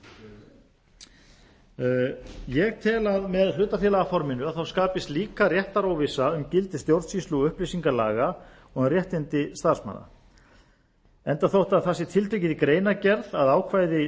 hlutafélaginu ég tel að með hlutafélagaforminu skapist líka réttaróvissa um gildi stjórnsýslu og upplýsingalaga og um réttindi starfsmanna enda þótt tiltekið sé í greinargerð að ákvæði stjórnsýslu